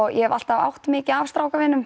ég hef alltaf átt mikið af